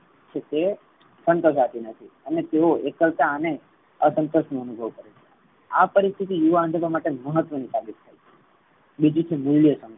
નથી અને તેઓ એકલતા અને અસંતોષ નો અનુભવ કરે છે. આ પરિસ્થિતિ યુવા અંજપણ માટે મહત્વ ની સાબિત થઇ છે. બીજું છે. મૂલ્ય